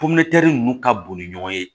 ninnu ka boli ɲɔgɔn ye